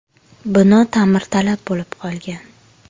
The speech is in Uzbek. Bino ta’mirtalab bo‘lib qolgan.